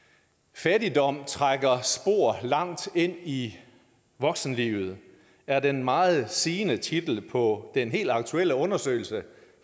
fattigdom trækker spor langt ind i voksenlivet er den meget sigende titel på den helt aktuelle undersøgelse